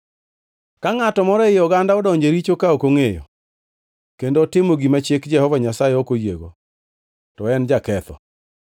“ ‘Ka ngʼato moro ei oganda odonjo e richo ka ok ongʼeyo kendo otimo gima chik Jehova Nyasaye ok oyiego, to en jaketho.